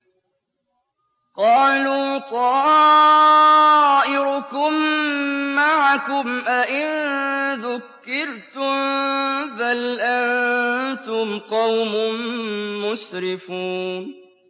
قَالُوا طَائِرُكُم مَّعَكُمْ ۚ أَئِن ذُكِّرْتُم ۚ بَلْ أَنتُمْ قَوْمٌ مُّسْرِفُونَ